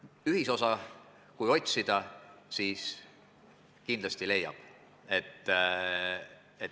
Ühisosa, kui otsida, siis kindlasti leiab.